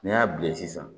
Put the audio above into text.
N'i y'a bilen sisan